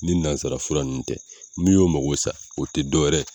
Ni nanzara fura ninnu tɛ min y'o mago sa o te dɔwɛrɛ ye